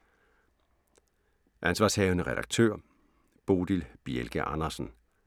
Ansv. redaktør: Bodil Bjelke Andersen